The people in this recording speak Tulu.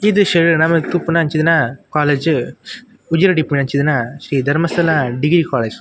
ಈ ದ್ರಶ್ಯಡ್ ನಮಕ್ ತೂಪಿನಂಚಿನ ಕಾಲೇಜ್ ಉಜಿರೆಡ್ ಇಪ್ಪುನಂಚಿನ ಶ್ರೀ ಧರ್ಮಸ್ಥಳ ಡಿಗ್ರಿ ಕಾಲೇಜ್ .